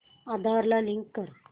आधार ला लिंक कर